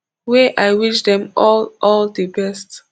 wey i wish dem all all di best